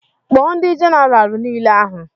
Kpọọ ndị jenaraal nile ahụ!